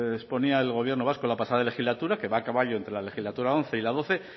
exponía el gobierno vasco la pasada legislatura que va a caballo entre la legislatura once y la doce